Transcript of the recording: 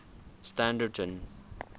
standerton